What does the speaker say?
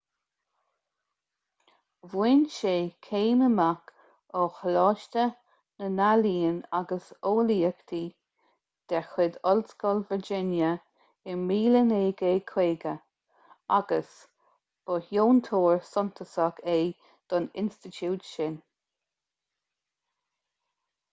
bhain sé céim amach ó choláiste na n-ealaíon & eolaíochtaí de chuid ollscoil virginia i 1950 agus ba dheontóir suntasach é don institiúid sin